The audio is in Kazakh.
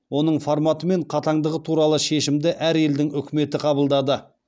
оның форматы мен қатаңдығы туралы шешімді әр елдің үкіметі қабылдады